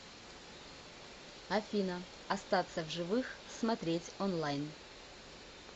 афина остаться в живых смотреть онлайн